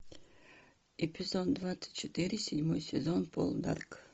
эпизод двадцать четыре седьмой сезон полдарк